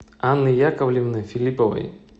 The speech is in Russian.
анны яковлевны филипповой